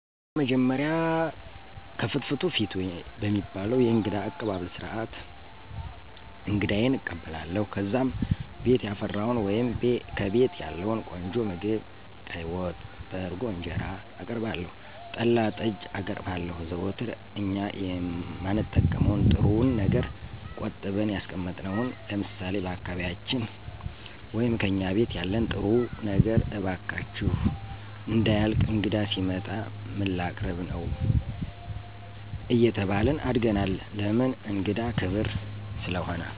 በመጀመሪያ "ከፍትፍቱ ፊቱ" በሚባለዉ የእንግዳ አቀባበል ስርዓት አንግዳየን እቀበላለሁ። ከዚያም ቤት ያፈራዉን ወይም ከቤቴ ያለዉን ቆንጆ ምግብ ቀይ ወጥ፣ በእርጎ እንጀራአቀርባለሁ, ጠላ, ጠጅ አቀርባለሁ, ዘወትር እኛ የማንጠቀመዉን ጥሩዉን ነገር ቆጥበን ያስቀመጥነዉን ለምሳሌ፦ በአካባቢያችን ወይም "ከእኛ ቤት ያለን ጥሩዉ ነገር እባካችሁ እንዳያልቅ እንግዳ ሲመጣ ምን ላቀርብ ነዉ አየተባልን አድገናል ለምን እንግዳ ክብር ስለሆነ።